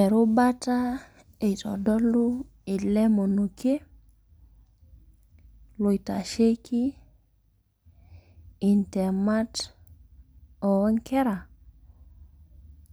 Erubata eitodolu ele moniekie naitasheki intemat oo nkera